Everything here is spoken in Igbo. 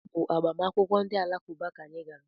Ọ bụ agbamakwụkwọ ndị alakụba ka anyị gara.